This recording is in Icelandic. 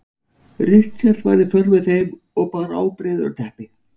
Richard var í för með þeim og bar ábreiður og teppi.